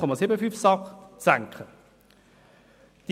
Bis dahin waren es 0,75 SAK.